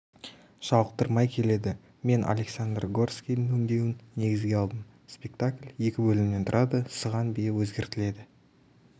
жалықтырмай келеді мен александр горскийдің өңдеуін негізге алдым спектакль екі бөлімнен тұрады сыған биі өзгертіледі